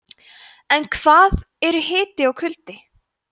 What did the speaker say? en hvað eru hiti og kuldi